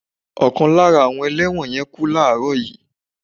Ọkàn nínu àwọn ẹlẹ́wọ̀n yẹn kú láààrọ̀ yìí